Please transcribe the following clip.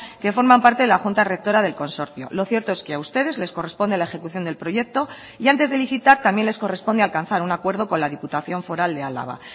que forman parte de la junta rectora del consorcio lo cierto es que a ustedes les corresponde la ejecución del proyecto y antes de licitar también les corresponde alcanzar un acuerdo con la diputación foral de álava